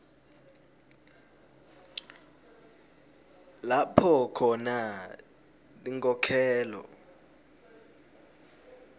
lapho khona tinkhokhelo